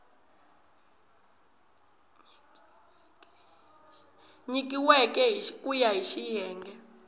nyikiweke ku ya hi xiyenge